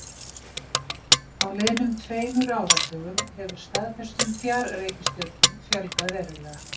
Á liðnum tveimur áratugum hefur staðfestum fjarreikistjörnum fjölgað verulega.